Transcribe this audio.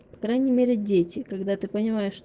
по крайней мере дети когда ты понимаешь